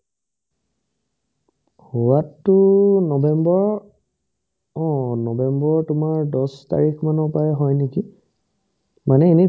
হোৱাতো নৱেম্বৰৰ অ নৱেম্বৰৰ তোমাৰ দছ তাৰিখমানৰ পাৰাই হয় নেকি মানে এনে